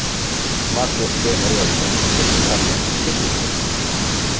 Magnús Geir Eyjólfsson: Viltu kalla þetta spillingu?